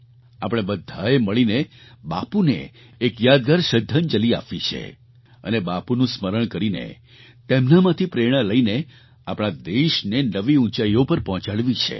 આપણે બધાએ મળીને બાપુને એક યાદગાર શ્રદ્ધાંજલી આપવી છે અને બાપુનું સ્મરણ કરીને તેમનામાંથી પ્રેરણા લઈને આપણા દેશને નવી ઊંચાઈઓ પર પહોંચાડવી છે